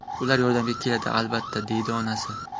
Ular yordamga keladi albatta”, deydi onasi.